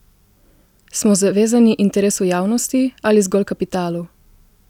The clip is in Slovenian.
Smo zavezani interesu javnosti ali zgolj kapitalu?